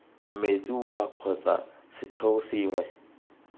metsi wua kgotsa setheo sengwe